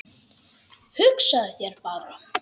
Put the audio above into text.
Hugsaðu þér bara!